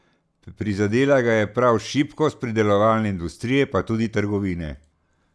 Prizadela ga je prav šibkost predelovalne industrije, pa tudi trgovine.